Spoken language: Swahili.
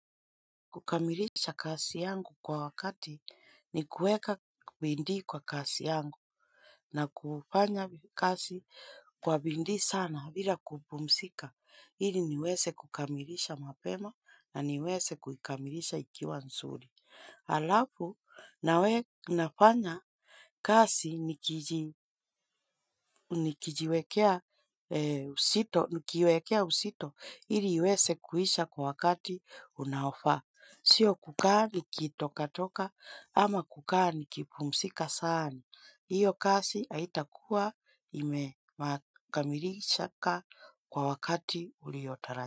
Kukamilisha kazi yangu kwa wakati ni kueka bidii kwa kazi yangu na kufanya kazi kwa bidii sana bila kupumzika. Hili niweze kukamilisha mapema na niweze kuikamilisha ikiwa nzuri. Alafu na we nafanya kazi. Nikijiwekea uzito ili iweze kuisha kwa wakati unaofaa. Sio kukaa nikitoka toka ama kukaa nikipumzika sana. Iyo kazi haitakuwa imekamilishaka kwa wakati.